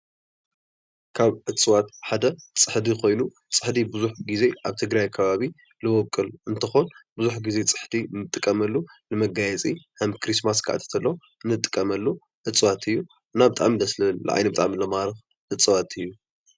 ካብ እፅዋት ሓደ ፅሕዲ ኮይኑ ፅሕዲ ብዙሕ ግዜ ኣብ ትግራይ ከባቢ ዝበቁል እንትኾን ብዙሕ ግዜ ፅሕዲ እንጥቀመሉ ንመጋየፂ ከም ኪሪስማስ ክኣቱ ከሎ እንጥቀመሉ እፅዋት እዩ። እና ብጣዕሚ ደስ ዝብል ንዓይነ ብጣዕሚ ዝማርክ እፅዋት እዩ።